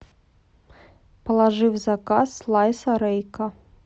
положи в заказ слайса рейка